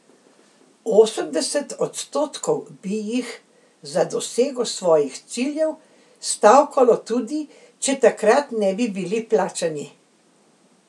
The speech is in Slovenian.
Osemdeset odstotkov bi jih za dosego svojih ciljev stavkalo tudi, če takrat ne bi bili plačani.